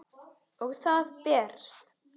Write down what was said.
Og það berst.